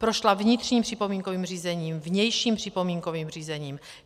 Prošla vnitřním připomínkovým řízením, vnějším připomínkovým řízením.